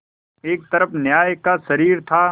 एक तरफ न्याय का शरीर था